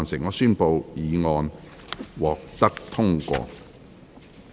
我宣布議案獲得通過。